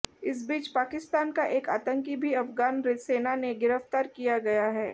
इस बीच पाकिस्तान का एक आतंकी भी अफगान सेना ने गिरफ्तार किया गया है